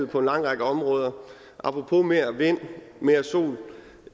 på en lang række områder apropos mere vind og mere sol